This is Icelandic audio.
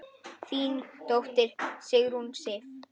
Þín dóttir, Sigrún Sif.